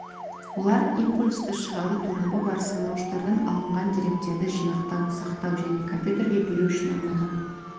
олар импульсті шығару торабы бар санауыштардан алынған деректерді жинақтау сақтау және компьютерге беру үшін арналған